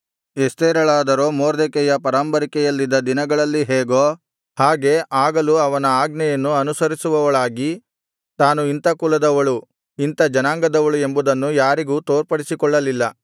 ಎಸ್ತೇರಳಾದರೋ ಮೊರ್ದೆಕೈಯ ಪರಾಂಬರಿಕೆಯಲ್ಲಿದ್ದ ದಿನಗಳಲ್ಲಿ ಹೇಗೋ ಹಾಗೆ ಆಗಲೂ ಅವನ ಆಜ್ಞೆಯನ್ನು ಅನುಸರಿಸುವವಳಾಗಿ ತಾನು ಇಂಥ ಕುಲದವಳು ಇಂಥ ಜನಾಂಗದವಳು ಎಂಬುದನ್ನು ಯಾರಿಗೂ ತೋರ್ಪಡಿಸಿಕೊಳ್ಳಲಿಲ್ಲ